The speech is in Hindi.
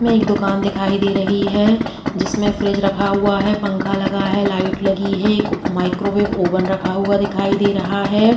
में एक दुकान दिखाई दे रही है। जिसमे फ्रिज रखा हुआ है पंखा लगा है लाइट लगी है एक माइक्रोवेव ओवन रखा हुआ दिखाई दे रहा है।